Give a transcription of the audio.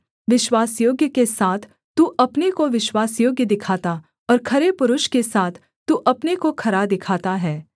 विश्वासयोग्य के साथ तू अपने को विश्वासयोग्य दिखाता और खरे पुरुष के साथ तू अपने को खरा दिखाता है